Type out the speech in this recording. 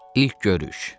İlk görüş.